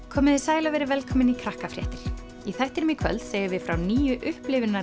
komiði sæl og verið velkomin í Krakkafréttir í þættinum í kvöld segjum við frá nýju